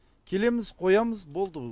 келеміз қоямыз болды